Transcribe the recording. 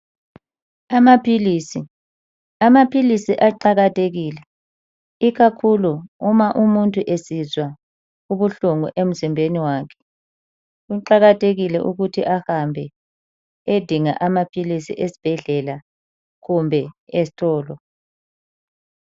Amaphilisi. Amaphilisi aqakathekile ikakhulu uma umuntu esizwa ubuhlungu emzimbeni wakhe. Kuqakathekile ukuthi ahambe ayedinga amaphilisi ezibhedlela kumbe ezitolo.